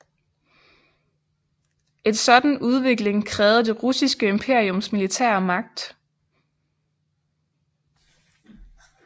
En sådan udvikling krævede det russiske imperiums militære magt